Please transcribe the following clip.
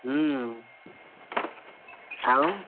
ହୁଁ, ଆଉ?